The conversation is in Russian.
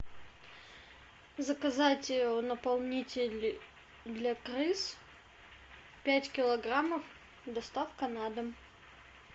заказать наполнитель для крыс пять килограммов доставка на дом